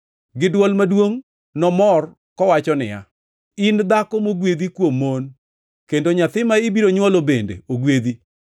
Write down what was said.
Gi dwol maduongʼ nomor kowacho niya, “In dhako mogwedhi kuom mon, kendo nyathi ma ibiro nywolo bende ogwedhi!